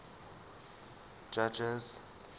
judges